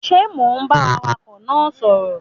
Ṣe Mọ ń bá awakọ náà sọrọ?